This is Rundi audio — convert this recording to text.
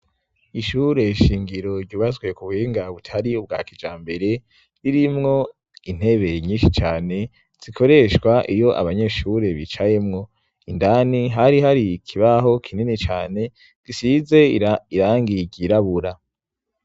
ishure shingiro ryubatswe ku buhinga butari ubwa kijambere ririmwo intebe nyinshi cane zikoreshwa iyo abanyeshure bicayemwo indani hari hari kibaho kinini cane gisize irangi ryirabura